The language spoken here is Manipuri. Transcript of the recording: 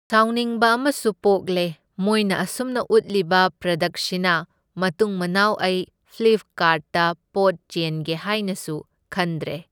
ꯁꯥꯎꯅꯤꯡꯕ ꯑꯃꯁꯨ ꯄꯣꯛꯂꯦ, ꯃꯣꯏꯅ ꯑꯁꯨꯝꯅ ꯎꯠꯂꯤꯕ ꯄ꯭ꯔꯗꯛꯁꯤꯅ ꯃꯇꯨꯡ ꯃꯅꯥꯎ ꯑꯩ ꯐ꯭ꯂꯤꯞꯀꯥꯔꯠꯇ ꯄꯣꯠ ꯆꯦꯟꯒꯦ ꯍꯥꯢꯅꯁꯨ ꯈꯟꯗꯔꯦ꯫,